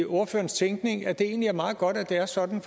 ordførerens tænkning at det egentlig er meget godt at det er sådan